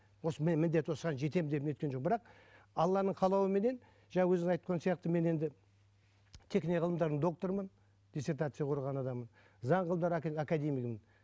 осы міндет осыған жетемін деп не еткен жоқпын бірақ алланың қалауыменен жаңа өзің айтқан сияқты мен енді ғылымдарының докторымын диссертация қорғаған адаммын академигімін